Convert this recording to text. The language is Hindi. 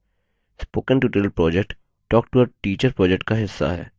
spoken tutorial project talktoateacher project का हिस्सा है